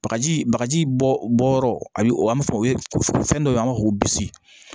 Bagaji bagaji bɔ yɔrɔ a bɛ an bɛ fɛn o fɛn dɔ an b'a fɔ ko bisi